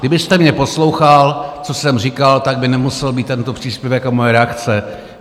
Kdybyste mě poslouchal, co jsem říkal, tak by nemusel být tento příspěvek a moje reakce.